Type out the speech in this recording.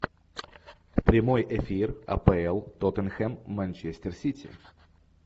прямой эфир апл тоттенхэм манчестер сити